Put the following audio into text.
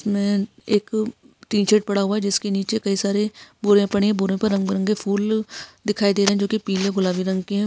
मे एक T shirt पड़ा हुआ है जिसके निचे कही सारे बोरिया पड़े है बोरिया पर रंगबिरंगे फुल दिखाई दे रहे है जो की पीले और गुलाबी रंग के है।